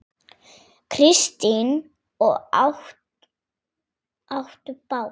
Kristín: Og áttu bát?